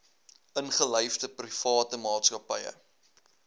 ingelyfde private maatskappye